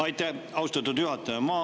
Aitäh, austatud juhataja!